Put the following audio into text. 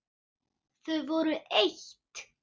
Þau voru eitt.